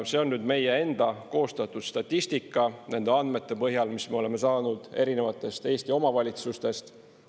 See on nüüd meie enda koostatud statistika nende andmete põhjal, mis me oleme saanud erinevatest Eesti omavalitsustest.